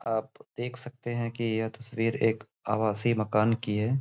आप देख सकते हैं कि यह तस्वीर एक आवासी मकान की है।